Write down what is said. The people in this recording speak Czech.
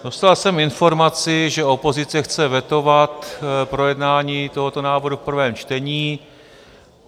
Dostal jsem informaci, že opozice chce vetovat projednání tohoto návrhu v prvém čtení.